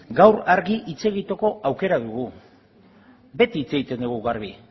gaur argi hitz egiteko aukera dugu beti hitz egiten dugu garbi